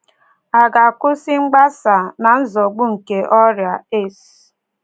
À ga-akwụsị mgbasa na-nzọgbu nke ọrịa AIDS?